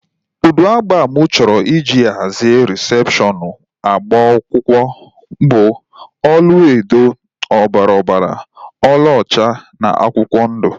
Ụdị agba mụ chọrọ iji hazie rịsepshọnu agbamakwụkwọ m bụ ọlaedo, ọbara ọbara, ọla ọcha na akwụkwọ ndụ